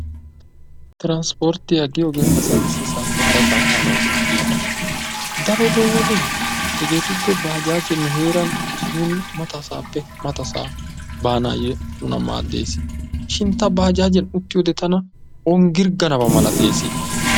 Transportiyaa giyoge asay issi sohuwappe hara sohuwaa baanayo go"etiyoba daroto baajaje nuuni mata sohuwape mata sohuwa baanayo maadessi shiini daro tana baajaje ogirganadani hanessi.